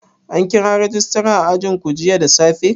An kira rajista a ajinku jiya da safe?